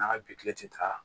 N'a bi kile ti taa